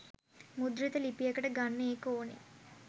මුද්‍රිත ලිපියකට ගන්න ඒක ඕනේ.